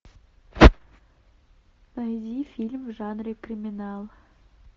найди фильм в жанре криминал